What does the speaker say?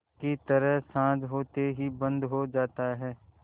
की तरह साँझ होते ही बंद हो जाता है